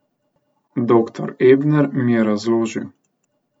Doktor Ebner mi je razložil.